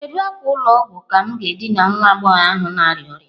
Kedu akwa ụlọ ọgwụ ka m ga-edina nwa agbọghọ ahụ na-arịa ọrịa?